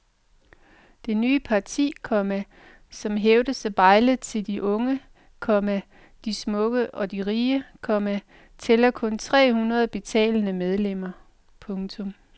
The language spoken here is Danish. Det nye parti, komma som hævdes at bejle til de unge, komma de smukke og de rige, komma tæller kun tre hundrede betalende medlemmer. punktum